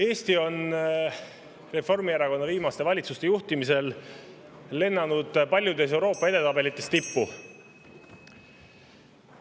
Eesti on Reformierakonna viimaste valitsuste juhtimisel lennanud paljudes Euroopa edetabelites tippu.